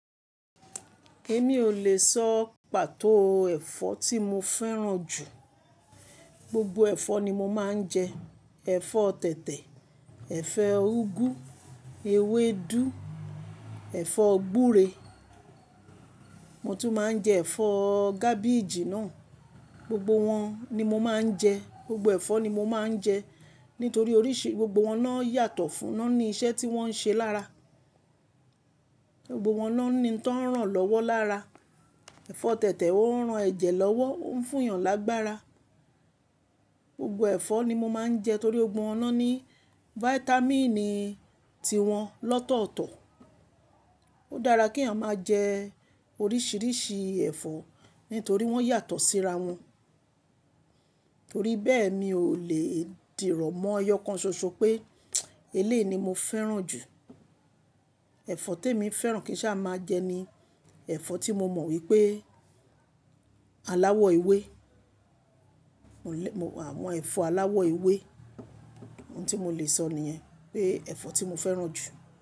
Èmi ò lè sọ pàtó ẹ̀fọ́ tí mo fẹ́ràn jù. Gbogbo ẹ̀fọ́ ni mo máa ń jẹ. Ẹ̀fọ́ tẹ̀tẹ̀, ẹ̀fọ́ úgú, ewédú, ẹ̀fọ́ gbúre mo tún máa ń jẹ ẹ̀fọ́ cabbage náà. Gbogbo wọn ni mo máa ń jẹ. Gbogbo ẹ̀fọ́ ni mo máa ń jẹ nítorí oríṣi gbogbo wọn náà yàtọ̀ fún, wọ́n ní iṣẹ́ tí wọ́n ń ṣe lára. Gbogbo wọn náà ní ohun tó ń ràn lọ́wọ́ lára. Ẹ̀fọ́ tẹ̀tẹ̀ ó ń ran ẹ̀jẹ̀ lọ́wọ́, ó ń fún èèyàn lágbára. Gbogbo ẹ̀fọ́ ni mo máa ń jẹ torí gbogbo wọn náà ní fáítámínì ti wọn lọ́tọ̀ọ̀tọ̀. Ó dára kí èèyàn máa jẹ oríṣiríṣi ẹ̀fọ́ nítorí wọ́n yàtọ̀ síra wọn. Torí bẹ́ẹ̀ mi ò lè dìrọ̀ mọ́ eyọ́ kan ṣoṣo pé eléyi mo fẹ́ràn jù. Ẹ̀fọ́ tí èmi fẹ́ràn kí n sì máa jẹ ni ẹ̀fọ́ tí mo mọ̀ wípé aláwọ̀ ewé. Àwọn ẹ̀fọ́ aláwọ̀ ewé. Ohun tí mo lè sọ níyẹn pé ẹ̀fọ́ tí mo fẹ́ràn jù.